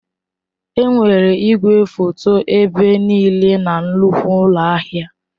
Enwere igwefoto ebe niile na nnukwu ụlọ ahịa.